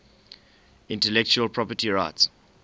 intellectual property rights